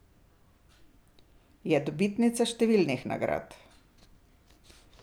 Je dobitnica številnih nagrad.